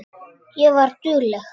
Ég var dugleg.